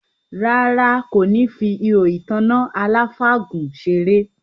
Rárá, kò ní fi ihò ìtanná aláfàgùn seré